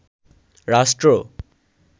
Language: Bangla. রাষ্ট্র